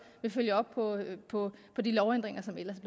vil følge op på på de lovændringer som ellers